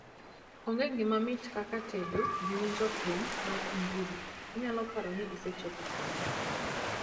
Onge gima mit kaka tedo gi winjo thum mar injili, inyalo paro ni isechopo polo